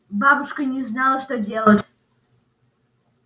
бабушка не знала что делать